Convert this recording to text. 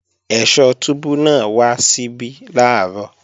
Ẹ̀sọ́ túbú náà wá síbí làárọ̀